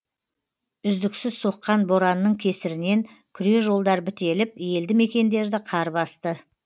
үздіксіз соққан боранның кесірінен күре жолдар бітеліп елді мекендерді қар басты